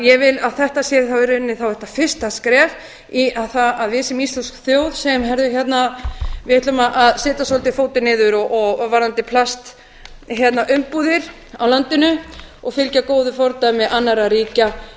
ég vil að þetta sé að það sé í rauninni þá þetta fyrsta skref í að við séum íslensk þjóð sem heyrðu við ætlum að setja svolítið fótinn niður varðandi plastumbúðir á landinu og fylgja góðu fordæmi annarra ríkja